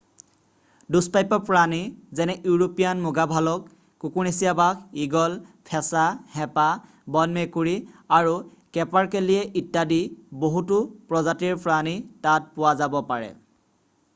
দুষ্পাপ্য প্ৰাণী যেনে ইউৰোপীয়ান মুগা ভালক কুকুৰনেচীয়া বাঘ ঈগল ফেঁচা হেঁপা বন মেকুৰী আৰু কেপাৰকেলিয়ে ইত্যাদি বহুতো প্ৰজাতিৰ প্ৰাণী তাত পোৱা যাব পাৰে